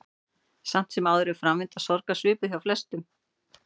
Samt sem áður er framvinda sorgar svipuð hjá flestum.